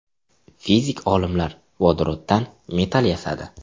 Fizik olimlar vodoroddan metall yasadi.